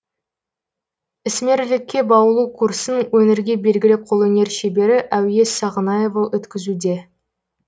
ісмерлікке баулу курсын өңірге белгілі қолөнер шебері әуес сағынаева өткізуде